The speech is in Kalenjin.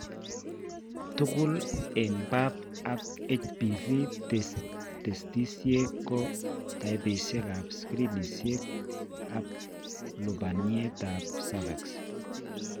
Tugul eng' pap ak HPV testisiek ko taipisiek ab screenisiek ab lubaniat ab cervix